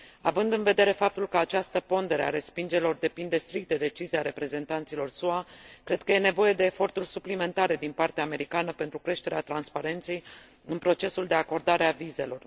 Având în vedere faptul că această pondere a respingerilor depinde strict de decizia reprezentanților SUA, cred că e nevoie de eforturi suplimentare din partea americană pentru creșterea transparenței în procesul de acordare a vizelor.